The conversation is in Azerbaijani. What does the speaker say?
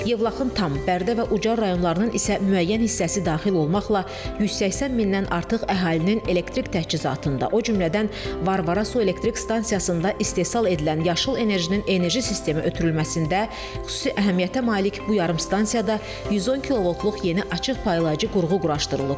Yevlaxın tam, Bərdə və Ucar rayonlarının isə müəyyən hissəsi daxil olmaqla 180 mindən artıq əhalinin elektrik təchizatında, o cümlədən Varvara su elektrik stansiyasında istehsal edilən yaşıl enerjinin enerji sistemi ötürülməsində xüsusi əhəmiyyətə malik bu yarımstansiyada 110 kilovoltluq yeni açıq paylayıcı qurğu quraşdırılıb.